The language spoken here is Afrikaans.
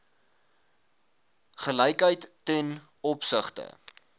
gelykheid ten opsigte